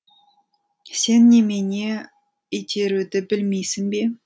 сен немене итеруді білмейсің бе